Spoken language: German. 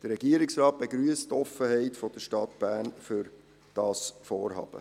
Der Regierungsrat begrüsst die Offenheit der Stadt Bern für dieses Vorhaben.